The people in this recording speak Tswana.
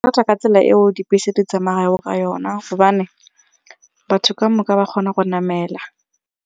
Ka tsela eo dibese di tsamayang ka yona gobane batho kamoka ba kgona go namela.